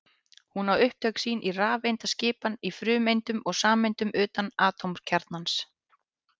Hún á upptök sín í rafeindaskipan í frumeindum og sameindum utan atómkjarnans.